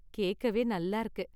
கேக்கவே நல்லா இருக்கு.